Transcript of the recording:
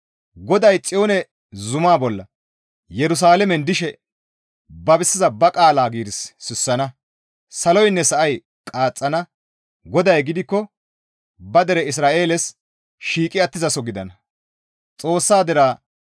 GODAY Xiyoone zumaa bolla Yerusalaamen dishe babisiza ba qaala giiris sissana; saloynne sa7ay qaaxxana; GODAY gidikko ba dere Isra7eeles shiiqi attizaso gidana.